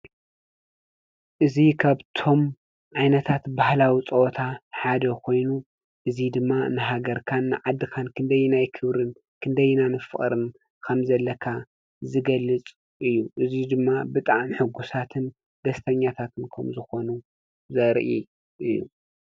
እዙ ኸብቶም ዓይነታት ባህላዊ ጸወታ ሓደ ኾይኑ እዙይ ድማ ንሃገርካን ዓድኻን ክንደይና ይክብርን ክንደይናምፍቕርም ኸም ዘለካ ዝገልጽ እዩ እዙይ ድማ ብጣን ሕጉሳትን ደስተኛታትን ኩምዝኾኑ ዘርኢ እዩ።